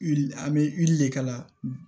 Wuli an bɛ wuli de ka na